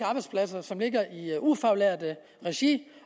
arbejdspladser som ligger i ufaglært regi